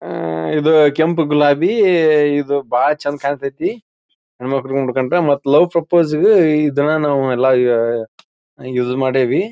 ಆಹ್ ಇದು ಕೆಂಪು ಗುಲಾಬಿ ಇದು ಬಹಳ್ ಚಂದ ಕಾಣ್ ತ್ಯತಿ ಹೆಣ್ಣಮಕ್ಕಳು ಮೂಡ್ ಕೊಳ್ ತಾ ಮತ್ತೆ ಲವ್ ಪ್ರೊಪೊಸೆಗೆ ಇದನ್ನ ನಾವ ಎಲ್ಲಾ ಈಗ ಯೂಸ್ ಮಾಡೇವಿ.